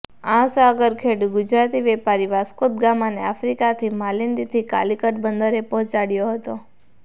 આ સાગરખેડુ ગુજરાતી વેપારી વાસ્કો દ ગામાને આફ્રિકાના માલિંદીથી કાલીકટ બંદરે પહોંચાડયો હતો